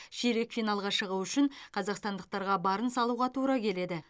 ширек финалға шығу үшін қазақстандықтарға барын салуға тура келеді